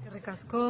eskerrik asko